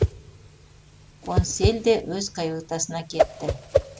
консель де өз каютасына кетті